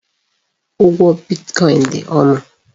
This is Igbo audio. Ụgwọ bitkọin dị ọnụ.